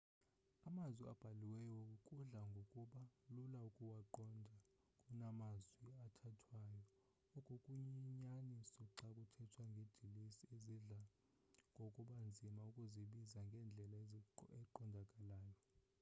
amazwi abhaliweyo kudla ngokuba lula ukuwaqonda kunamazwi athethwayo oku kuyinyaniso xa kuthethwa ngeedilesi ezidla ngokuba nzima ukuzibiza ngendlela eqondakalayo